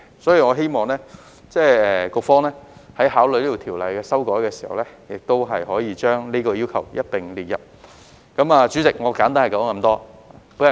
所以，我希望局方在考慮這項條例的修改時，亦可以一併考慮這項要求。